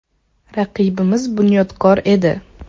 Raqibimiz “Bunyodkor” edi.